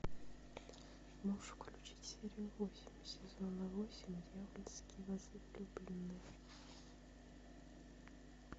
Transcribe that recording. можешь включить серию восемь сезона восемь дьявольские возлюбленные